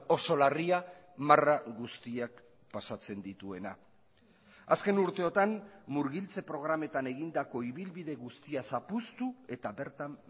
oso larria marra guztiak pasatzen dituena azken urteotan murgiltze programetan egindako ibilbide guztia zapuztu eta bertan